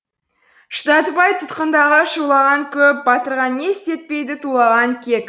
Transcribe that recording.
шыдатпай тұтқындағы шулаған көп батырға не істетпейді тулаған кек